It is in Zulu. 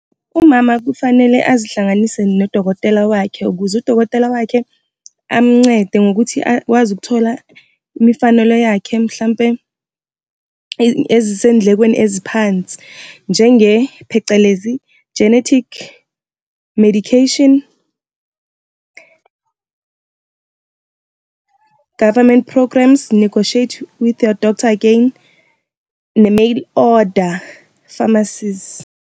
Umama kufanele azihlanganise nodokotela wakhe ukuze udokotela wakhe amncede ngokuthi akwazi ukuthola imifanelo yakhe, mhlampe ezisey'ndlekweni eziphansi. Njenge, phecelezi, genetic medication, government programmes, negotiate with your doctor again, ne-mail order pharmacies.